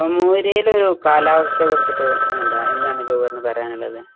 മോരിയിലെ ഒരു കാലാവസ്ഥയെ കുറിച്ച് എന്താ എന്താണ് ജൌഹറിന് പറയാനുള്ളത്?